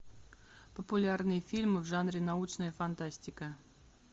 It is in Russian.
популярные фильмы в жанре научная фантастика